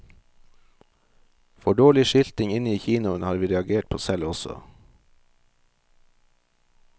For dårlig skilting inne i kinoen har vi reagert på selv også.